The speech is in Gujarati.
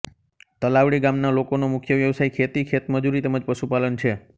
તલાવડી ગામના લોકોનો મુખ્ય વ્યવસાય ખેતી ખેતમજૂરી તેમ જ પશુપાલન છે